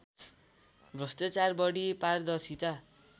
भ्रष्टचार बढी पारदर्शिता